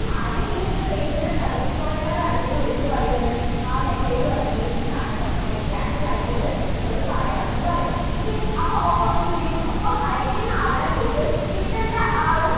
ആദ്യം ഈ ഒരു pager ന്റെ service provider റുടെ അടുത്തേക്ക് വിളിച്ചിട്ട് പറയും എന്ത് ആ message പറയും. ദേ ഇന്നതാണ് കേട്ടോ. flight cancel ആയിട്ടുണ്ട് എന്നുള്ളത് പറയണം എന്നു പറയും. okay അപ്പോൾ ഒപ്പം എന്ത് ചെയ്യും? ഒപ്പം അയക്കുന്ന ആളുടെ പേരും കിട്ടണ്ട ആ ഒരു